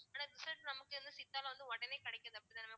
ஆனா result நமக்கு என்ன சித்தால வந்து உடனே கிடைக்கல அப்படித்தானே mam